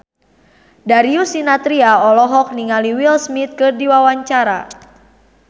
Darius Sinathrya olohok ningali Will Smith keur diwawancara